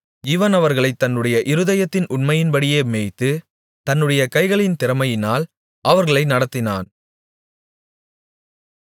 இவன் அவர்களைத் தன்னுடைய இருதயத்தின் உண்மையின்படியே மேய்த்து தன்னுடைய கைகளின் திறமையினால் அவர்களை நடத்தினான்